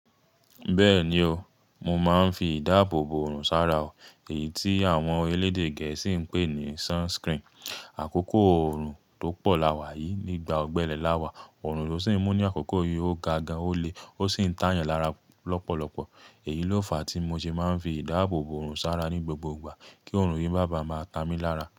Bẹ́ẹ̀ni o, mo máa ń fi ìdáàbò bo òrùn sára o èyí tí àwọn elédè gẹ̀ẹ́sì ń pè ní sunscreen. Àkókò ọ̀run tó pọ̀ lawà yìí, nígbà ọ̀gbẹẹ̀ lawà, ọ̀run ló sì ń mú ní àkókò yìí ó ga gan-an, ó le ó sì ń tà yàn lára lọ́pọ̀lọpọ̀. Èyí ló fa tí mo ṣe máa ń fi ìdáàbò òrùn sára ní gbogbo ìgbà kí ọ̀run yìí má bá máa ta mí lára.